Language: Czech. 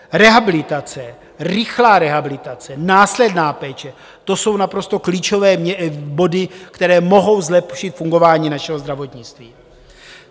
Rehabilitace, rychlá rehabilitace, následná péče - to jsou naprosto klíčové body, které mohou zlepšit fungování našeho zdravotnictví.